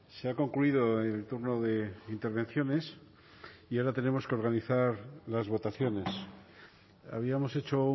se ha concluido el turno de intervenciones y ahora tenemos que organizar las votaciones habíamos hecho